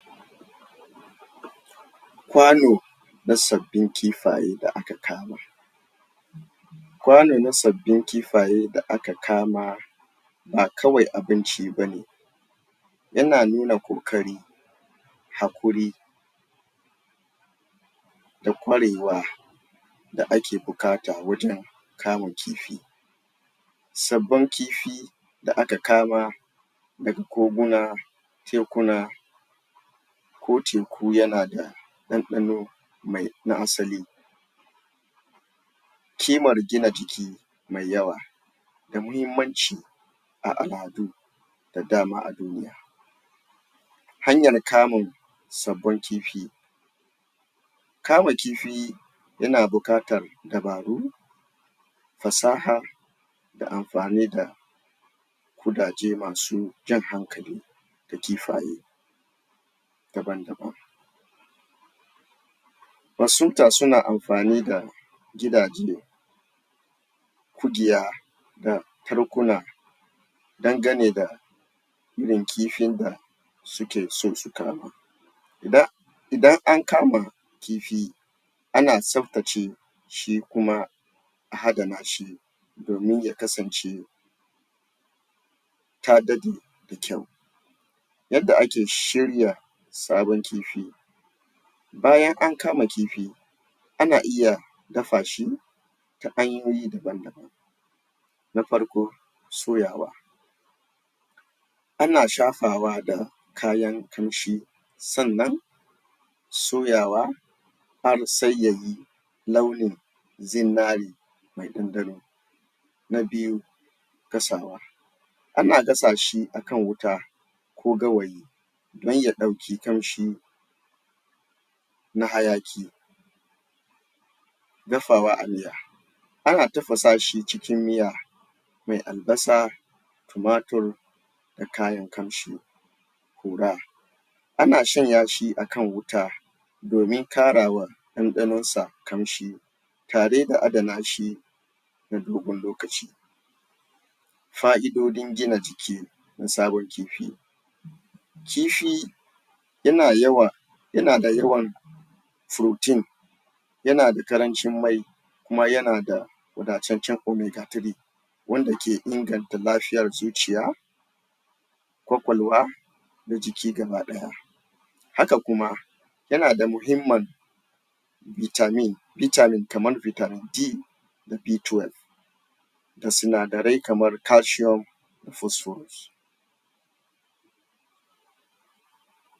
Kwano na sabbin kifaye da aka kama. Kwano na sabbin kifaye da aka kama ba kawai abinci ba ne yana nuna ƙoƙari, haƙuri, da kwarewa, da ake buƙata wajen kamun kifi sabbin kifi da aka kama daga koguna, tekuna, ko taku yana da ɗanɗano mai na asali kimar gina jiki mai yawa da muhimanci a al'adu da dama a duniya. Hanyar kamun sabun kifi. Kama Kifi yana buƙatar dabaru, fasaha, da amfani da kudaje masu jan hankali ga kifaye daban-daban masunta suna amfani da gidaje ƙugiya da tarkuna dangane da irin kifin da suke so su kama da idan an gama kifi ana tsaftace shi kuma a adana shi domin ya kasance ta ɗaɗe da kyau yadda ake shirya sabon kifi. Bayan an ka Kifi ana iya dafa shi ta hanyoyi daban-daban. Na farko, soyawa ana shafawa da kayan ƙamshi sannan soyawa har sai ya yi launin zinare?, na biyu gasawa, ana gasa shi akan wuta ko gawayi don ya ɗauki ƙamshi na hayaƙi, dafawa a miya, ana tafasa shi cikin miya mai albasa tumatur da kayan ƙamshi? ana shanya shi a kan wuta domin ƙarawa ɗanɗanonsa ƙamshi tare da adana shi na dogon lokaci, fa'idojin gina jiki na sabon kifi, Kifi yana yawa yana da yawan furotin yana da ƙarancin mai kuma yana da wadataccen ometa tire wanda ke inganta lafiyar zuciya kwakwalwa, da jiki baki ɗaya haka kuma yana da muhimmin bitamin bitamin kamar bitamin di da bi towel da sinadarai kamar kashiyom?